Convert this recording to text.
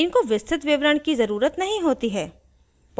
इनको विस्तृत विवरण की ज़रुरत नहीं होती है